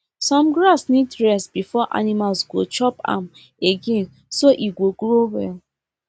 some grass need rest before animals go chop am again so e go grow well